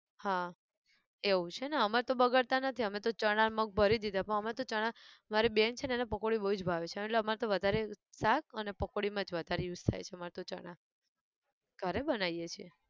હા, એવું છે ને અમાર તો બગડતાં નથી અમે તો ચણા ન મગ ભરી દીધા પણ અમે તો ચણા, મારી બેન છે ને એને પકોડી બઉ જ ભાવે છે એટલે અમારે તો વધારે શાક અને પકોડી માં જ વધારે use થાય છે અમારે તો ચણા, ઘરે બનાયીએ છે.